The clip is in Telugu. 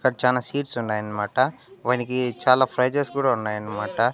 అక్కడ చానా సీట్స్ ఉన్నాయన్మాట వానికి చాలా ప్రైజెస్ కూడా ఉనాయన్మాట.